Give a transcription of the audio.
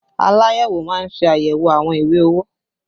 Aláyẹ̀wò má ń ṣe ayẹwo àwọn ìwé owó